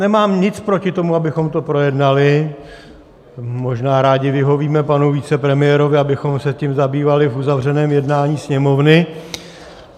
Nemám nic proti tomu, abychom to projednali, možná rádi vyhovíme panu vicepremiérovi, abychom se tím zabývali v uzavřeném jednání Sněmovny.